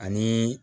Ani